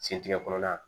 Sentigɛ kɔnɔna na